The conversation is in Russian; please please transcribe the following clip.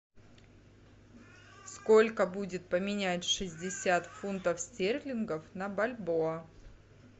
сколько будет поменять шестьдесят фунтов стерлингов на бальбоа